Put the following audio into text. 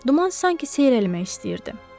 Duman sanki seyrəlmək istəyirdi.